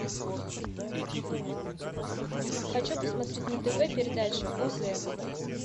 хочу посмотреть на тв передачу оз